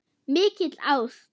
Mikil ást.